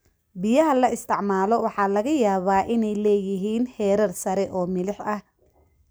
Biyaha la isticmaalo waxaa laga yaabaa inay leeyihiin heerar sare oo milix ah.